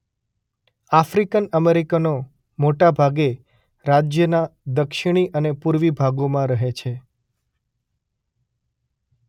African અમેરિકનો મોટાભાગે રાજ્યના દક્ષિણી અને પૂર્વી ભાગોમાં રહે છે.